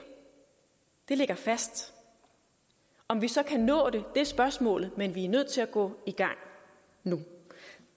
det ligger fast om vi så kan nå det er spørgsmålet men vi nødt til at gå i gang nu